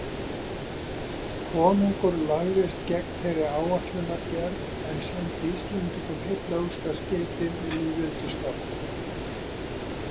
Konungur lagðist gegn þeirri áætlunargerð en sendi íslendingum heillaóskaskeyti við lýðveldisstofnun.